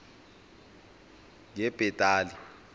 ngebhetali